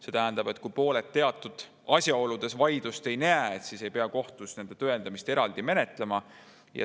See tähendab, et kui pooled teatud asjaoludes vaidlust ei näe, siis ei pea kohtus nende tõendamist eraldi menetlema.